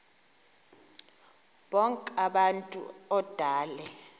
bonk abantu odale